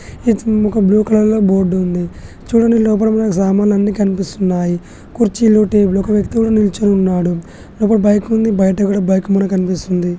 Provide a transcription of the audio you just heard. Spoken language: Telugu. ఒక బ్లూ కలర్ లో బోర్డు ఉంది. చూడండి లోపల మనకు సామాన్లు అన్ని కనిపిస్తున్నాయి. కుర్చీలు టేబుల్స్ ఒక వ్యక్తి కూడా నిల్చొని ఉన్నాడు. లోపల బైక్ ఉంది బయక కూడా ఒక బైక్ కూడా కనిపిస్తుంది.